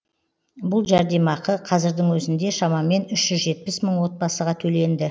бұл жәрдемақы қазірдің өзінде шамамен үш жүз жетпіс мың отбасыға төленді